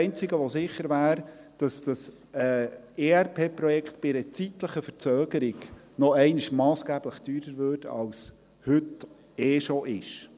Das Einzige, das sicher wäre, ist, dass dieses ERP-Projekt bei einer zeitlichen Verzögerung nochmals massgeblich teurer würde, als es heute sowieso schon ist.